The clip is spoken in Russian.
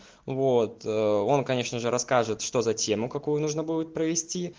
воот он конечно же расскажет что за тему какую нужно будет провести